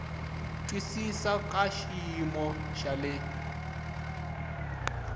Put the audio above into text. twisisa ka xiyimo xa le